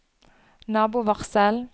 nabovarsel